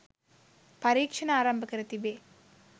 පරීක්ෂණ ආරම්භ කර තිබේ